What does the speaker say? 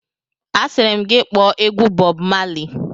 Asịrị m gị kpọọ egwu Bọb Mali!